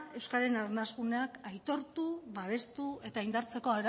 euskararen aitortu babestu eta indartzeko